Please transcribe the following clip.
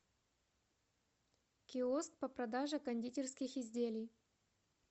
киоск по продаже кондитерских изделий